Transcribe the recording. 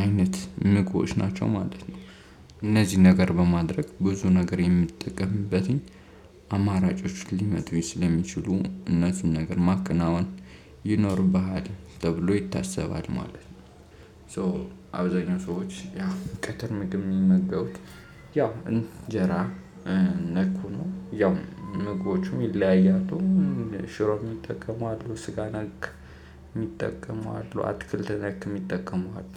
አይነት ንቁዎች ናቸው ማለት ነው። እነዚህን ነገር በማድረግ ብዙ ነገር የምትጠቀምበትኝ አማራጮች ሊመጡ ስለሚችሉ እነሱን ነገር ማከናወን ይኖርብሃል ተብሎ ይታሰባል ማለት ነው። ሶ አብዛኛው ሰዎች ያ ቀትር ምግብ የሚመገቡት ያው እንጀራ ነኩኑ ያው ምግቦቹም ይለያያቱም ሽሮም ይጠቀሙ አሉ ስጋና ነክ የሚጠቀመው አሉ አትክልት ነክ የሚጠቀመው አሉ።